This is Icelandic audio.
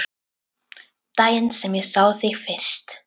Daginn sem ég sá þig fyrst.